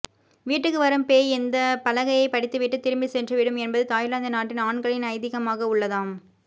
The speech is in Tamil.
வீட்டுக்கு வரும் பேய் இந்த பலகையை படித்துவிட்டு திரும்பி சென்று விடும் என்பது தாய்லாந்து நாட்டின் ஆண்களின் ஐதீகமாக உள்ளதாம்